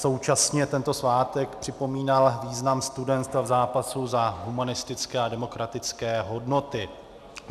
Současně tento svátek připomínal význam studentstva v zápasu za humanistické a demokratické hodnoty.